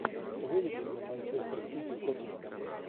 выведи мне манчестер сити тоттенхэм